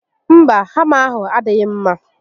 Mba, hama ahụ adịghị mma